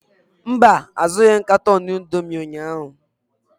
Mba, azụghị m katọn indomi ụnyaahụ.